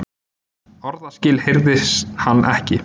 Orðaskil heyrði hann ekki.